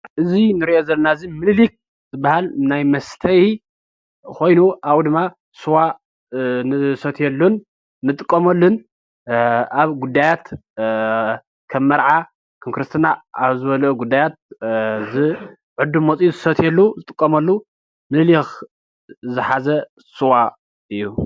እዚ ንሪኦ ዘለና እዚ ምንሊክ ዝብሃል ናይ መስተይ ኮይኑ ኣብኡ ድማ ስዋ ንሰትየሉ ንጥቀመሉን ኣብ ጉዳያት ከም መርዓ፣ ከም ክርስትና፣ ኣብ ዝበለ ጉዳያት እዝ ዕዱም መፅዩ ዝጥቀመሉ፣ ዝሰትየሉ ዝጥቀመሉን ምንሊክ ዝሓዘ ስዋ እዩ ፡፡